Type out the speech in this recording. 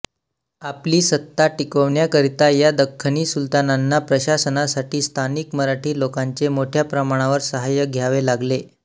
आपली सत्ता टिकविण्याकरिता या दख्खनी सुलतानांना प्रशासनासाठी स्थानिक मराठी लोकांचे मोठ्या प्रमाणावर साहाय्य घ्यावे लागले